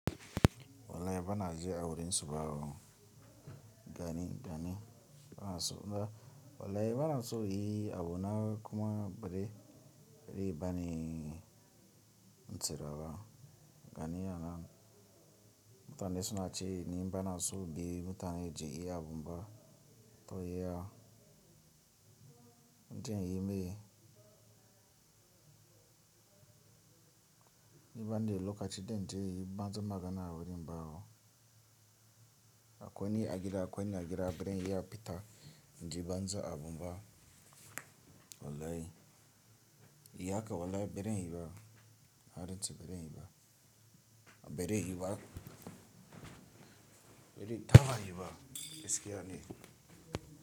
Walai ba naji awurin su bawo. Gani, gani. A suna, walai ba na so yi abu na kuma bari ribani ntsirawa. Gani ana. Mutane suna cewa ni ba na so bi mutane ji iya abun ba. To yaya? Inje in yi me? Ni banda lokaci don je banza magana awurin bawo. Akwai ni a gida akwai ni a gida baran iya pita, inje banza abun ba. Walai. Yi haka walai baran yi ba. Na rantse baran yi ba. Bari yi ba. Bari taba yi ba. Gaskiya ne.